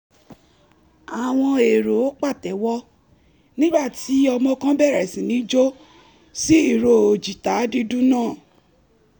àwọn èrò pàtẹ́wọ́ nígbà tí ọmọ kan bẹ̀rẹ̀ sí ní jó sí ìró jìtá dídùn náà